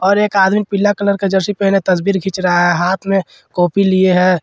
और एक आदमी पीला कलर का जर्सी पहनने तसवीर खिच रहा है हाथ में कॉपी लिए है।